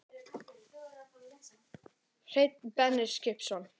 Hreinn Benediktsson